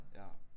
Ja